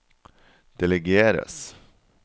delegeres